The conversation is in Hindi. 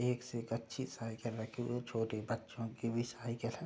एक से एक अच्छी साइकिल रखी हुई हैं छोटे बच्चों की भी साइकिल है।